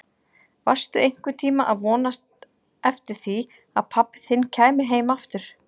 Varstu einhvern tíma að vonast eftir því að pabbi þinn kæmi heim aftur?